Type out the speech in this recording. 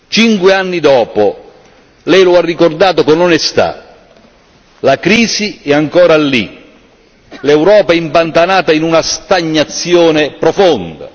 Cinque anni dopo Lei lo ha ricordato con onestà la crisi è ancora lì, l'Europa è impantanata in una stagnazione profonda.